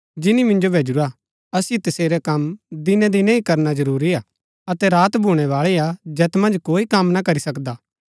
जिनी मिन्जो भैजुरा असिओ तसेरै कम दिनैदिनै ही करना जरूरी हा अतै रात भूणैबाळी हा जैत मन्ज कोई कम ना करी सकदा